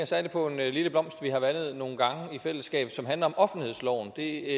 særlig på en lille blomst vi har vandet nogle gange i fællesskab som handler om offentlighedsloven det